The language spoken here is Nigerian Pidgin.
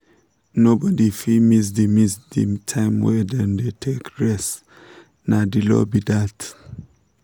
nobody fit miss the miss the time wey dem dey take rest — na the law be that